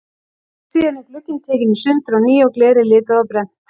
Síðan er glugginn tekinn í sundur á ný og glerið litað og brennt.